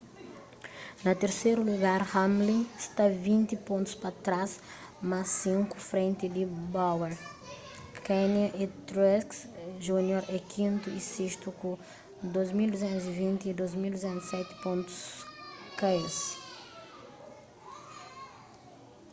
na terseru lugar hamlin sta vinti pontus pa trás mas sinku frenti di bowyer kahne y truex jr é kintu y sestu ku 2,220 y 2,207 pontus ka es